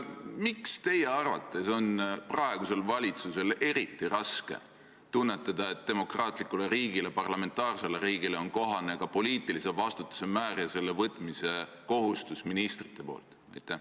Miks teie arvates on praegusel valitsusel eriti raske tunnetada, et demokraatlikule riigile, parlamentaarsele riigile on kohane ka poliitilise vastutuse määr ja selle võtmise kohustus ministrite poolt?